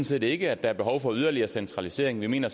set ikke at der er behov for yderligere centralisering vi mener